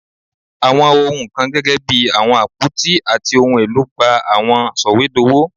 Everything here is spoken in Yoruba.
Awọn ohun kan gẹgẹbi awọn apoti ati ohun elo gba awọn sọwedowo